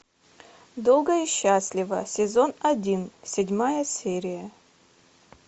долго и счастливо сезон один седьмая серия